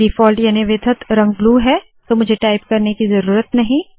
default याने वितथ रंग ब्लू है तो मुझे टाइप करने की ज़रूरत नहीं